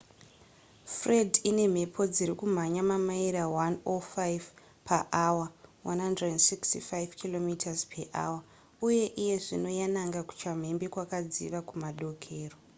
fred ine mhepo dziri kumhanya mamaira 105 paawa165 km/hr uye iye zvino yananga kuchamhembe kwakadziva kumadokero